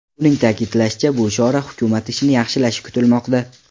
Uning ta’kidlashicha, bu chora hukumat ishini yaxshilashi kutilmoqda.